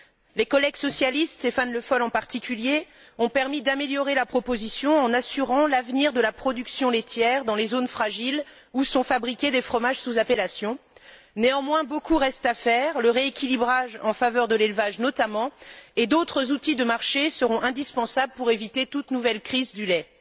Les collègues socialistes, Stéphane Le Foll en particulier, ont permis d'améliorer la proposition en assurant l'avenir de la production laitière dans les zones fragiles où sont fabriqués des fromages sous appellation. Néanmoins, beaucoup reste à faire. Le rééquilibrage en faveur de l'élevage notamment et d'autres outils de marché seront indispensables pour éviter toute nouvelle crise du lait.